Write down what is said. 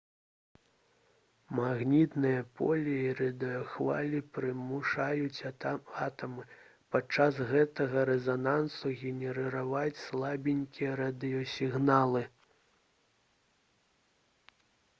магнітнае поле і радыёхвалі прымушаюць атамы падчас гэтага рэзанансу генерыраваць слабенькія радыёсігналы